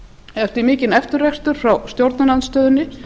eftir mikinn eftirrekstur frá stjórnarandstöðunni